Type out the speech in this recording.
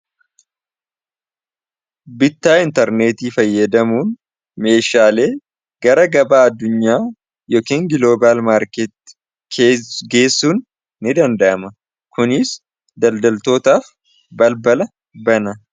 bittaa intarneetii fayyadamuun meeshaalee gara gabaa addunyaa yookn giloobal maarkeeti Geggeessuun ni danda'ama kuniis daldaltootaaf balbala bana.